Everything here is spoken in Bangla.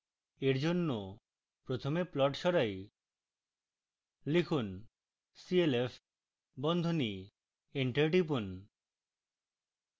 for জন্য প্রথমে plot সরাই